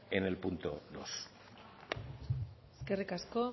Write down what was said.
en el punto dos eskerrik asko